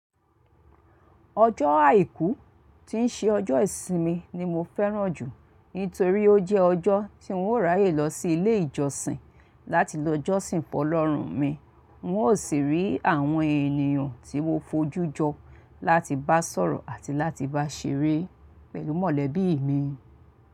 Ọjọ́ àìkú tí ń ṣe ọjọ́ ìsinmi ni mo fẹrànju nítorí ó jẹ ọjọ tí n ó ràyè lọ sí ilé ìjọsin láti lọ jọsin fọlọrun mi, n ó sì rí àwọn ènìyàn tí mo fòjú jọ láti bá sọ̀rọ̀ àti láti bá ṣeré pẹ̀lú mọ̀lẹ́bí mi.